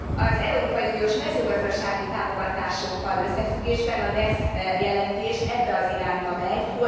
Az európai uniós mezőgazdasági támogatásokkal összefüggésben a Dess jelentés ebbe az irányba megy.